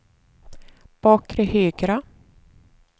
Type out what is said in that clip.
bakre högra